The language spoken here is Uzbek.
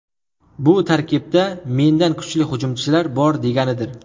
Bu tarkibda mendan kuchli hujumchilar bor, deganidir.